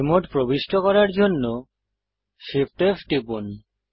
fly mode প্রবিষ্ট করার জন্য Shift F টিপুন